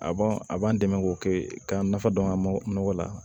A b'an a b'an dɛmɛ k'o kɛ ka nafa dɔn an ka nɔgɔ la